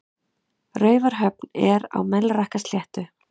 Raufarhöfn er á Melrakkasléttu.